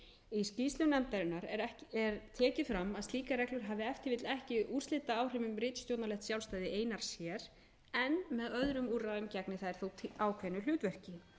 í skýrslu nefndarinnar er tekið fram að slíkar reglur hafi ef til vill ekki úrslitaáhrif um ritstjórnarlegt sjálfstæði einar sér en með öðrum úrræðum gegni þær þó ákveðnu hlutverki til bóta